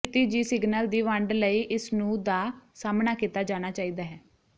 ਖਿਤਿਜੀ signal ਦੀ ਵੰਡ ਲਈ ਇਸ ਨੂੰ ਦਾ ਸਾਹਮਣਾ ਕੀਤਾ ਜਾਣਾ ਚਾਹੀਦਾ ਹੈ